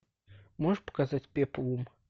можешь показать пеплум